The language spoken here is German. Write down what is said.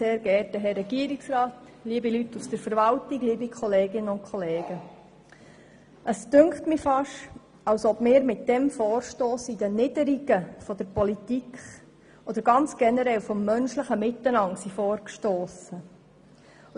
Es scheint mir beinahe, als ob wir mit diesem Vorstoss in die Niederungen der Politik oder ganz generell des menschlichen Miteinanders vorgestossen sind.